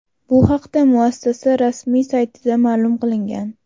Bu haqda muassasa rasmiy saytida ma’lum qilingan .